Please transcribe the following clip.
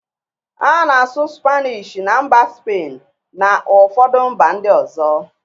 A na-asụ spanishi na mba spain na ụfọdụ mba ndị ọzọ.